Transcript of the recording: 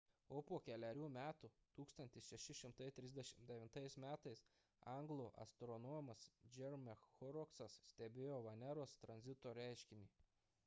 o po kelerių metų 1639 m anglų astronomas jeremiah horrocksas stebėjo veneros tranzito reiškinį